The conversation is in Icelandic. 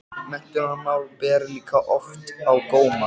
Menntunarmál ber líka oft á góma.